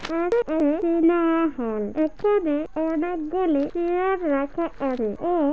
এখানে অনেকগুলি চেয়ার রাখা আছে ও--